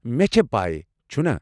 مےٚ چھےٚ پیہ ، چُھنا؟